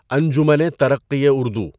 انجمنِ ترقّیِ اُردو